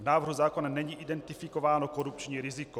V návrhu zákona není identifikováno korupční riziko.